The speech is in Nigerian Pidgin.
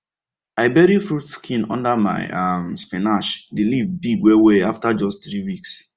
i bury fruit skin under my um spinach the leaf big well well after just three weeks